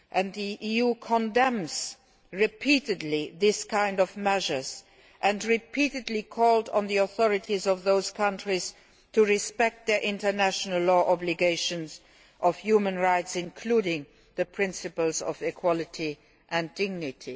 The EU has repeatedly condemned such measures and repeatedly called on the authorities of those countries to respect their international legal obligations on human rights, including the principles of equality and dignity.